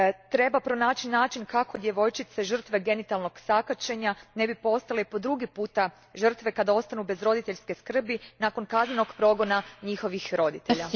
Treba pronaći načine kako djevojčice, žrtve genitalnog sakaćenja, ne bi postale po drugi puta žrtve kada ostanu bez roditeljske skrbi nakon kaznenog progona njihovih roditelja.